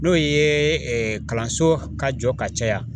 N'o ye kalanso ka jɔ ka caya.